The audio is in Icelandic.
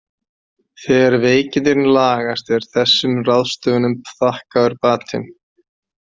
Þegar veikindin lagast er þessum ráðstöfunum þakkaður batinn.